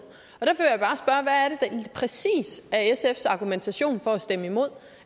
præcis sfs argumentation for at stemme imod